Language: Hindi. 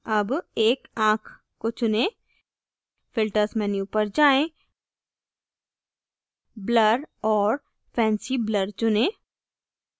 अब एक आँख को चुनें filters menu पर जाएँ blur और fancy blur चुनें